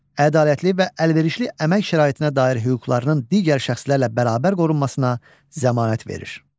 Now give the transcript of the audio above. ədalətli və əlverişli əmək şəraitinə dair hüquqlarının digər şəxslərlə bərabər qorunmasına zəmanət verir.